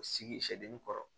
O sigi sɛgi kɔrɔ